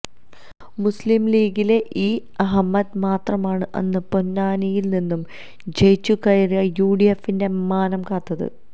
മുസ്ലിംലീഗിലെ ഇ അഹമ്മദ് മാത്രമാണ് അന്ന് പൊന്നാനിയില് നിന്നും ജയിച്ചുകയറി യുഡിഎഫിന്റെ മാനം കാത്തത്